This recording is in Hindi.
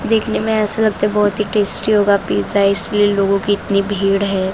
देखने में ऐसा लगता है बहुत ही टेस्टी होगा पिज़्ज़ा इस लिए लोगों की इतनी भीड़ है।